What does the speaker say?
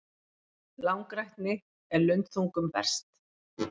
Langrækni er lundþungum verst.